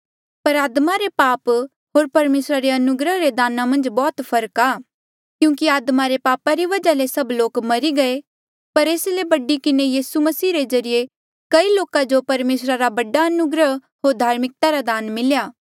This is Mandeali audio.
पर आदमा रे पाप होर परमेसरा रे अनुग्रहा रे दाना मन्झ बौह्त फर्क आ क्यूंकि आदमा रे पापा री वजहा ले सभ लोका मरी गये पर एस ले बड़ी किन्हें यीसू मसीह रे ज्रीए कई लोका जो परमेसरा रा बड़ा अनुग्रह होर धार्मिकता रा दान मिलेया